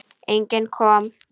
Enginn kom.